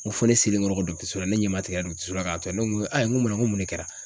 Ŋo fo ne selen kɔrɔ kɔ so la ne ɲɛmatigɛra so la k'a tɔ yan, ne ŋo ŋo mun ne kɛra?